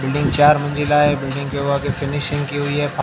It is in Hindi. बिल्डिंग चार मन्जिला है बिल्डिंग के वो आगे फिनिशिंग की हुई है।